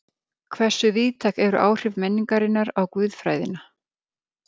Hversu víðtæk eru áhrif menningarinnar á guðfræðina?